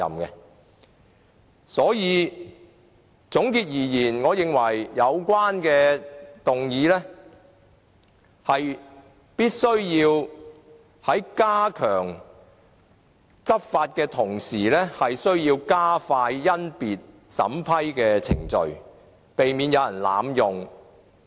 因此，總括而言，我認為有關的議案必須在加強執法的同時，需要加快甄別審批程序，避免有人濫用。